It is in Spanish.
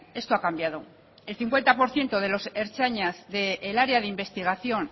esto ha cambiado el cincuenta por ciento de los ertzainas del área de investigación